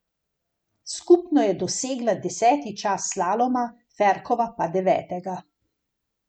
Skupno je dosegla deseti čas slaloma, Ferkova pa devetega.